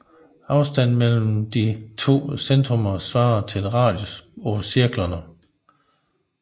Afstanden mellem de to centrummer svarer til radius på cirklerne